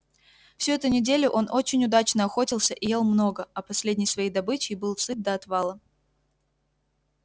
всю эту неделю он очень удачно охотился и ел много а последней своей добычей был сыт до отвала